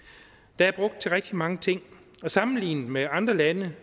der er brugt penge til rigtig mange ting og sammenlignet med andre lande